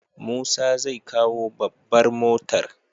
Musa zai kawo babbar motar.